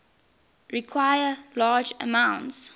require large amounts